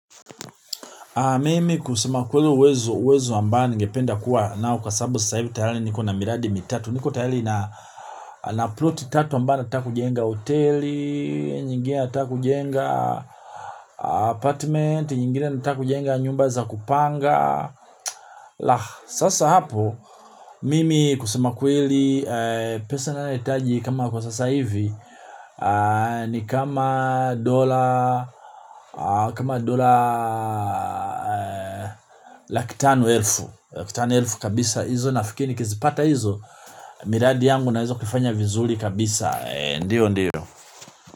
Mimi kusema ukweli uwezo ambao ngependa kuwa nao kwa sababu sasa hivi tayari niko na miradi mitatu niko tayari na nina ploti tatu ambazo nataka kujenga hoteli, nyingine nataka kujenga apartment, nyingine nataka kujenga nyumba za kupanga. La sasa hapo mimi kusema kweli pesa ninayohitaji kama kwa sasa hivi. Ni kama dola kama dola laki tano elfu laki tano elfu kabisa hizo nafikiri nikizipata hizo miradi yangu naeza kufanya vizuri kabisa ndio ndio.